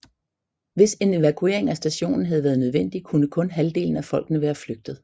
Hvis en evakuering af stationen havde været nødvendig kunne kun halvdelen af folkene være flygte